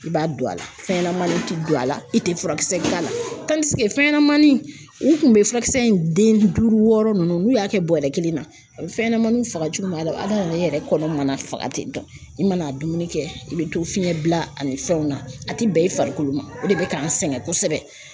I b'a don a la fɛnɲɛnamaninw tɛ don a la, i tɛ furakisɛ k'a la fɛnɲanamannin u tun bɛ furakisɛ in den duuru wɔɔrɔ ninnu, n'u y'a kɛ bɔrɛ kelen na,a bɛ fɛnɲɛnamaniw faga jogo minna, hadamaden yɛrɛ kɔnɔ mana faga tɛ dɔn i mana dumuni kɛ, i bɛ to fiɲɛ bila ani fɛnw na, a tɛ bɛn i farikolo ma, o de bɛ k'an sɛgɛn kosɛbɛ